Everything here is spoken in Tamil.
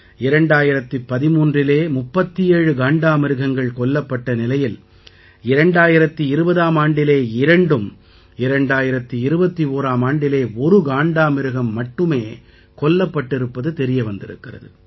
2013இலே 37 காண்டாமிருகங்கள் கொல்லப்பட்ட நிலையில் 2020ஆம் ஆண்டிலே இரண்டும் 2021ஆம் ஆண்டிலே ஒரு காண்டாமிருகம் மட்டுமே கொல்லப்பட்டிருப்பது தெரிய வந்திருக்கிறது